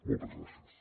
moltes gràcies